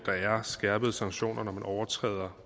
skærpede sanktioner når man overtræder